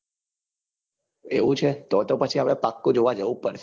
એવું છે તો તો પછી આપડે પાક્કું જોવા જઉં જ પડશે.